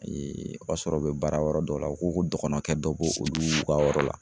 o y'a sɔrɔ u be baara yɔrɔ dɔw la, u ko ko dɔgɔnɔ kɛ dɔ b'olu ka yɔrɔ la